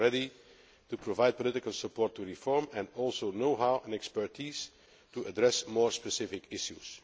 We are ready to provide political support to reform, and also know how and expertise to address more specific issues.